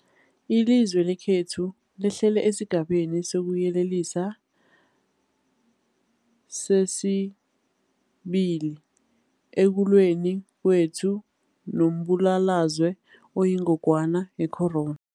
Ilizwe lekhethu lehlele esiGabeni sokuYelelisa sesi-2 ekulweni kwethu nombulalazwe oyingogwana ye-corona.